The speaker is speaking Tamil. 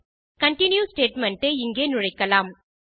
கன்டின்யூ ஸ்டேட்மெண்ட் ஐ இங்கே நுழைக்கலாம்